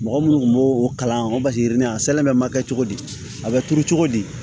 Mɔgɔ minnu kun b'o kalan o yirini a ma kɛ cogo di a bɛ turu cogo di